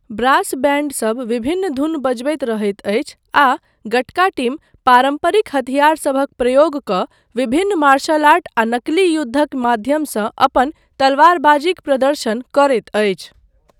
Brass बैण्डसब विभिन्न धुन बजबैत रहैत अछि आ 'गटका' टीम पारम्परिक हथियारसभक प्रयोग कऽ विभिन्न मार्शल आर्ट आ नकली युद्धक माध्यमसँ अपन तलवारबाजीक प्रदर्शन करैत अछि।